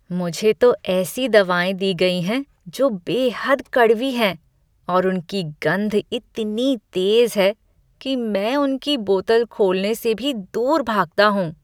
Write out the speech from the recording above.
मुझे तो ऐसी दवाएं दी गई हैं जो बेहद कड़वी हैं और उनकी गंध इतनी तेज़ है कि मैं उनकी बोतल खोलने से भी दूर भागता हूँ।